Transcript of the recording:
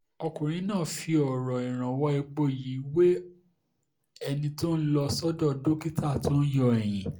ọkùnrin náà fi ọ̀rọ̀ ìrànwọ́ epo yìí wé ẹni tó lọ sọ́dọ̀ dókítà tó ń yọ ẹ̀yìn